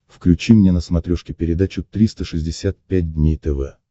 включи мне на смотрешке передачу триста шестьдесят пять дней тв